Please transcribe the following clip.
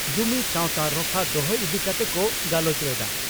ᱡᱩᱢᱤ ᱥᱟᱣᱛᱟ ᱨᱚᱯᱷᱟ ᱫᱚᱦᱚ ᱤᱫᱤ ᱠᱟᱛᱮ ᱠᱚ ᱜᱟᱞᱚᱪ ᱞᱮᱫᱼᱟ ᱾